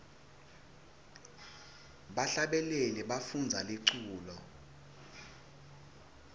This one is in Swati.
bahlabeleli bafundza liculo